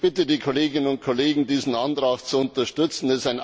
Ich bitte die Kolleginnen und Kollegen, diesen Antrag zu unterstützen.